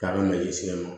K'a bɛ malisinɛ ma